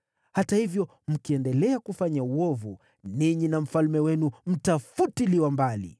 Hata hivyo mkiendelea kufanya uovu, ninyi na mfalme wenu mtafutiliwa mbali!”